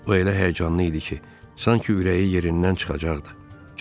O elə həyəcanlı idi ki, sanki ürəyi yerindən çıxacaqdı.